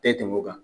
Bɛɛ tun kan